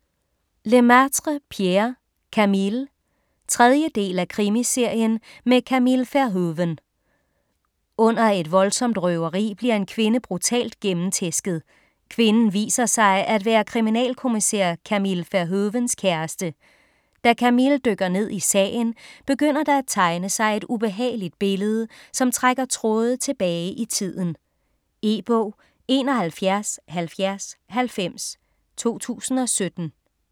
Lemaitre, Pierre: Camille 3. del af Krimiserien med Camille Verhoeven. Under et voldsomt røveri bliver en kvinde brutalt gennemtæsket. Kvinden viser sig at være kriminalkommissær Camille Verhoevens kæreste. Da Camille dykker ned i sagen, begynder der at tegne sig et ubehageligt billede, som trækker tråde tilbage i tiden. E-bog 717090 2017.